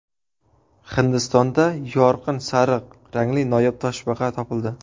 Hindistonda yorqin sariq rangli noyob toshbaqa topildi.